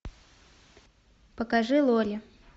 покажи лори